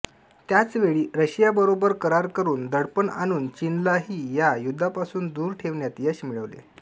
त्याच वेळी रशिया बरोबर करार करून दडपण आणून चीनलाही या युद्धापासून दूर ठेवण्यात यश मिळवले